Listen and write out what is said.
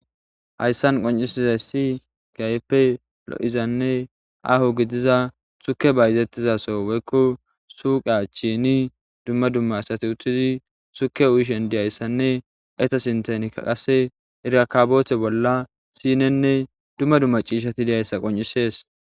Haysa qoncisizaysi kehippe lo'izanne Aho gidiza turkey bayzrtizaso woykon suyqa achani dumma dumma asati uttidi tukiya uyishe diyasanne izzeta sinthanka erakabote bolla sinenne dumma dumma c'isheti dizaysa qonc'ises.